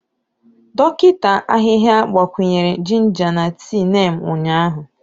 Dọkịta ahịhịa gbakwunyere jinja na tii Neem ụnyahụ.